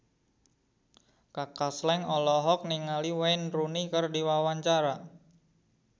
Kaka Slank olohok ningali Wayne Rooney keur diwawancara